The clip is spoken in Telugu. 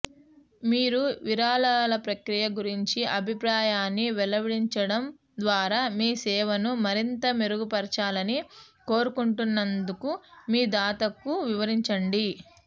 మీరు విరాళాల ప్రక్రియ గురించి అభిప్రాయాన్ని వెల్లడించడం ద్వారా మీ సేవను మరింత మెరుగుపరచాలని కోరుకుంటున్నందుకు మీ దాతకు వివరించండి